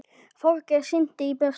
Þorgeir synti í burtu.